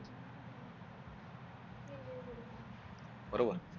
बरोबर